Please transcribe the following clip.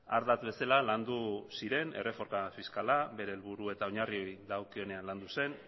ardatz bezala landu ziren erreforma fiskala bere helburu eta oinarriei dagokionean landu zen